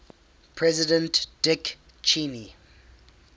president dick cheney